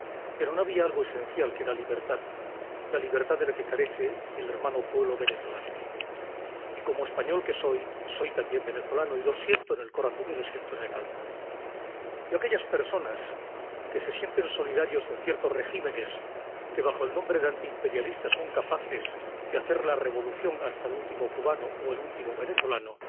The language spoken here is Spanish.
Pero no había algo esencial, que era la libertad, la libertad de que carece el hermano pueblo venezolano. Y como español que soy, soy también venezolano, y lo siento en el corazón y lo siento en el alma. Yo, a aquellas personas que se sienten solidarias con ciertos regímenes que bajo el nombre de antimperialistas son capaces de hacer la revolución hasta el último cubano o el último venezolano,